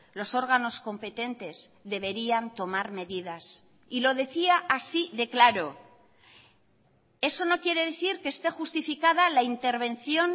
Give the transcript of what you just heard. los órganos competentes deberían tomar medidas y lo decía así de claro eso no quiere decir que esté justificada la intervención